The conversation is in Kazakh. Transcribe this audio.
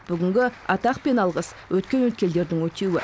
бүгінгі атақ пен алғыс өткен өткелдердің өтеуі